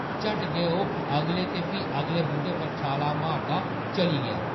झट्ट गै, ओह्‌‌ अगले ते फ्ही अगले बूह्‌टे पर छालां मारदा चली गेआ ।